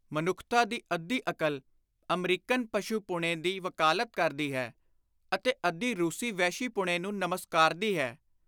ਮਨੁੱਖਤਾ ਦੀ ਅੱਧੀ ਅਕਲ ਅਮਰੀਕਨ ਪਸ਼ੁਪੁਣੇ ਦੀ ਵਕਾਲਤ ਕਰਦੀ ਹੈ ਅਤੇ ਅੱਧੀ ਰੁਸੀ ਵਹਿਸ਼ੀਪੁਣੇ ਨੂੰ ਨਮਸਕਾਰਦੀ ਹੈ।